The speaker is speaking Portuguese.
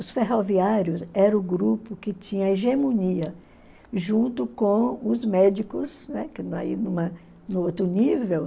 Os ferroviários eram o grupo que tinha hegemonia, junto com os médicos, né, no outro nível.